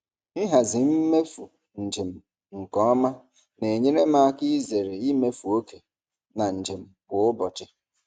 Ịhazi mmefu njem nke ọma na-enyere m aka izere imefu oke na njem kwa ụbọchị.